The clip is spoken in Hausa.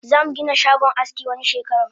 Zamu Gina shagon aski wani shekaran